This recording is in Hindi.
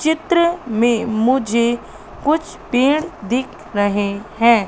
चित्र में मुझे कुछ पेड़ दिख रहे हैं।